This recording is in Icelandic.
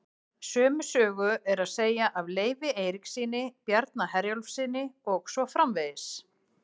Sömu sögu er að segja af Leifi Eiríkssyni, Bjarna Herjólfssyni og svo framvegis.